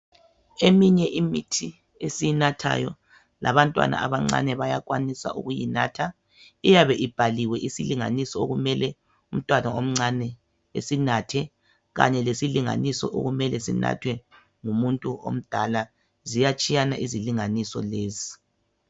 Eminye imithi esiyinathayo labantwana abancane bayakwanisa ukuyinatha. Iyabe ibhaliwe isilinganiso okumele umntwana omncane asinathe kanye lesilinganiso okumele sinathwe ngumuntu omdala. Ziyatshiyana izilinganiso lezi.